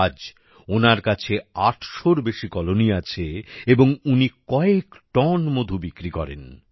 আজ ওনার কাছে আটশোর বেশি কলোনি আছে এবং উনি কয়েক টন মধু বিক্রি করেন